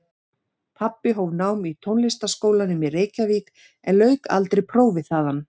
Pabbi hóf nám í Tónlistarskólanum í Reykjavík en lauk aldrei prófi þaðan.